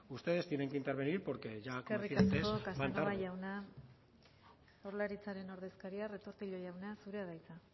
ustedes tienen que intervenir porque ya como decía antes van tarde eskerrik asko casanova jauna jaurlaritzaren ordezkaria retortillo jauna zurea da hitza